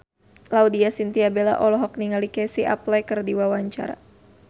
Laudya Chintya Bella olohok ningali Casey Affleck keur diwawancara